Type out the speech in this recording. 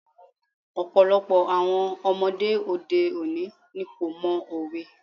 Ọ̀pọ̀lọpọ̀ àwọn ọmọdé òde òní ni kò mọ òwe.